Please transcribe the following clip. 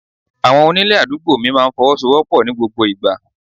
Àwọn onílé àdúgbò mi máa ń fọwọ́sowopo ní gbogbo ìgbà.